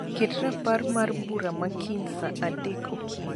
ket rapar mar bura ma kiny saa adek okinyi